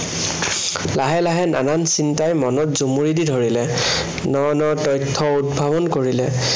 লাহে লাহে নানা চিন্তাই মনত জুমুৰি ধৰিলে। ন ন তথ্য় উদ্ভাৱন কৰিলে।